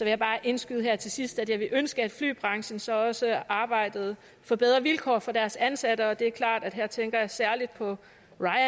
jeg bare indskyde her til sidst at jeg ville ønske at flybranchen så også arbejdede for bedre vilkår for deres ansatte og det er klart at her tænker jeg særlig på